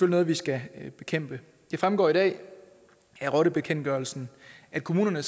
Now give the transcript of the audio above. noget vi skal bekæmpe det fremgår i dag af rottebekendtgørelsen at kommunerne